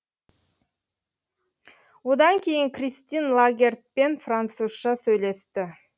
одан кейін кристин лагардпен французша сөйлесті